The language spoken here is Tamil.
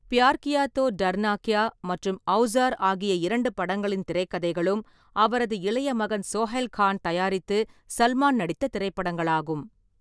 பியார் கியா தோ தர்னா க்யா மற்றும் ஔசார் ஆகிய இரண்டு படங்களின் திரைக்கதைகளும் அவரது இளைய மகன் சோஹைல் கான் தயாரித்து சல்மான் நடித்த திரைப்படங்களாகும்.